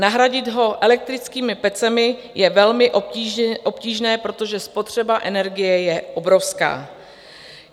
Nahradit ho elektrickými pecemi je velmi obtížné, protože spotřeba energie je obrovská.